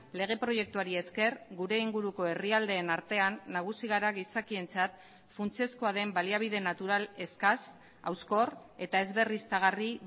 lege proiektuari esker gure inguruko herrialdeen artean nagusi gara gizakientzat funtsezkoa den baliabide natural eskas hauskor eta ez berriztagarri